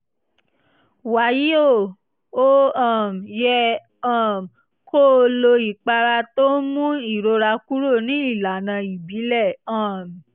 wàyí o o um yẹ um kó o lo ìpara tó ń mú ìrora kúrò ní ìlànà ìbílẹ̀ um